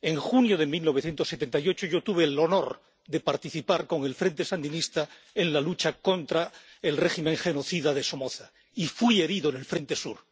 en junio de 1978 yo tuve el honor de participar con el Frente Sandinista en la lucha contra el régimen genocida de Somoza y fui herido en el frente sur.